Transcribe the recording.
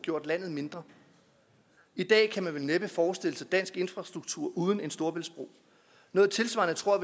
gjort landet mindre i dag kan man vel næppe forestille sig dansk infrastruktur uden en storebæltsbro noget tilsvarende tror